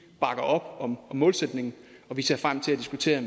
bakker op om målsætningen og vi ser frem til at diskutere